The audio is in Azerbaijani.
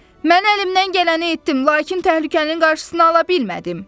Mən əlimdən gələni etdim, lakin təhlükənin qarşısını ala bilmədim.